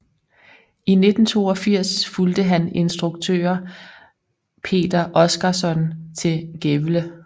I 1982 fulgte han instruktører Peter Oskarsson til Gävle